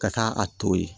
Ka taa a to ye